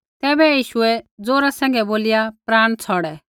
तैबै यीशुऐ ज़ोरा सैंघै बोलिया प्राण छ़ौड़ै